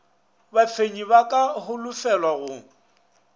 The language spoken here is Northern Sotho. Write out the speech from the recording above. bafenyi ba ka holofelwa go